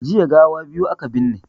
Jiya gawa biyu aka binne